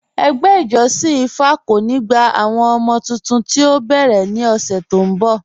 Ẹgbẹ́ ìjọ̀ṣin ìfá kò ní gbà àwọn ọmọ̀ tuntun tí o bẹ́rẹ̀ ní ọṣè tó n bọ̀.